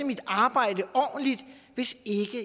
mit arbejde ordentligt hvis